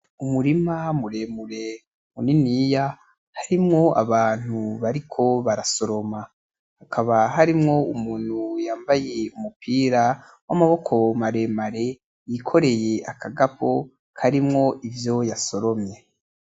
Umurima muremure muniniya, harimwo abantu bariko barasoroma. Hakaba harimwo umuntu yambaye umupira w'amaboko maremare, yikoreye akagapo karimwo ivyo yasoromye.